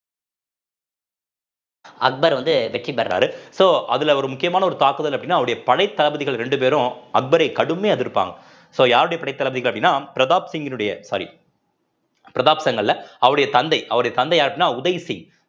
அக்பர் வந்து வெற்றி பெறுறாரு so அதுல ஒரு முக்கியமான ஒரு தாக்குதல் அப்படின்னா அவருடைய படைத்தளபதிகள் ரெண்டு பேரும் அக்பரை கடுமையா எதிர்ப்பாங்க so யாருடைய படை தளபதிகள் அப்படின்னா பிரதாப் சிங்கினுடைய sorry பிரதாப் son அல்ல அவருடைய தந்தை அவருடைய தந்தை யாருன்னா உதய் சிங்